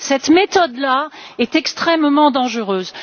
Cette méthode est extrêmement dangereuse.